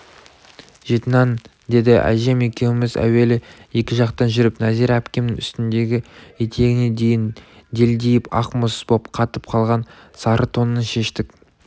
жеті нан деді әжем екеуміз әуелі екі жақтан жүріп нәзира әпкемнің үстіндегі етегіне дейін делдиіп ақ мұз боп қатып қалған сары тонын шештік